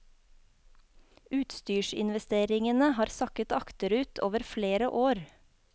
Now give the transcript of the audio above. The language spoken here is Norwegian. Utstyrsinvesteringene har sakket akterut over flere år.